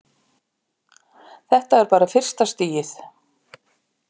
Þetta er bara fyrsta stigið.